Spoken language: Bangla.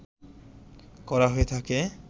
করা হয়ে থাকে